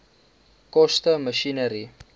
koste masjinerie